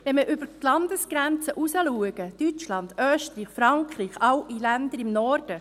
– Wenn wir über die Landesgrenzen hinausschauen, Deutschland, Österreich, Frankreich, alle Länder im Norden: